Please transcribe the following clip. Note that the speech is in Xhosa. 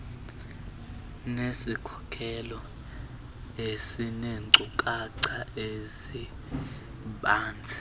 nesikhokelo esineenkcukacha ezibanzi